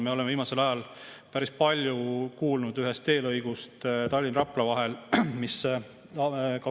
Me oleme viimasel ajal päris palju kuulnud ühest teelõigust Tallinna ja Rapla vahel, mis 2019 tehti.